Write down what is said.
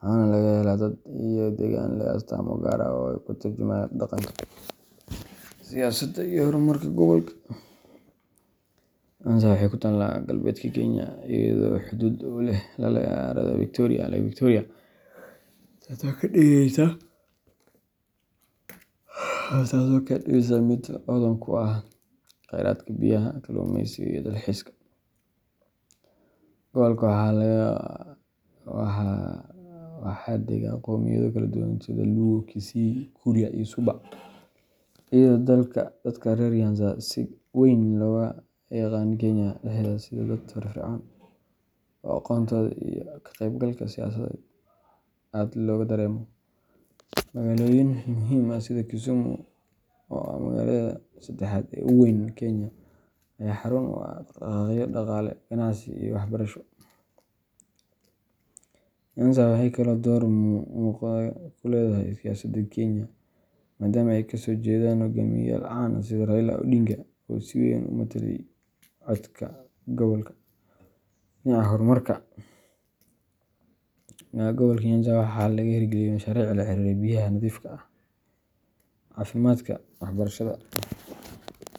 waxaana laga helaa dad iyo degaan leh astaamo gaar ah oo ka turjumaya dhaqanka, siyaasadda, iyo horumarka gobolka. Nyanza waxay ku taallaa galbeedka Kenya, iyadoo xuduud la leh harada Victoria Lake Victoria, taasoo ka dhigaysa mid hodan ku ah kheyraadka biyaha, kalluumeysiga, iyo dalxiiska. Gobolka waxaa dega qowmiyado kala duwan sida Luo, Kisii, Kuria, iyo Suba, iyadoo dadka reer Nyanza si weyn looga yaqaan Kenya dhexdeeda sida dad firfircoon oo aqoontooda iyo ka-qaybgalka siyaasadeed aad looga dareemo. Magaalooyin muhiim ah sida Kisumu oo ah magaalada saddexaad ee ugu weyn Kenya ayaa xarun u ah dhaqdhaqaaqyo dhaqaale, ganacsi, iyo waxbarasho. Nyanza waxay kaloo door muuqda ku leedahay siyaasadda Kenya, maadaama ay kasoo jeedaan hogaamiyeyaal caan ah sida Raila Odinga oo si weyn u matalayay codka gobolka. Dhinaca horumarka, gobolka Nyanza waxaa laga hirgeliyay mashaariic la xiriira biyaha nadiifka ah, caafimaadka, waxbarashada.